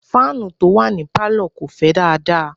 fáànù tí ó wà ní Pálọ̀ kò fẹ́ dáadáa.